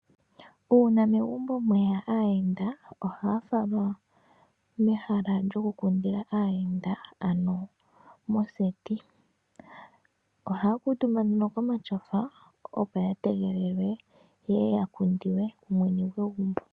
Uuna megumbo mweya aayenda, ohaya falwa mehala lyoku kundila aayenda ano moseti. Ohayakuutumba nduno komatyofa opo yategelele yeye yakundwe kumwene gwegumbo.